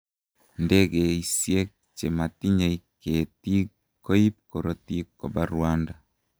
Ndekeisiek che matinyei ketiik koib korotik koba Rwanda.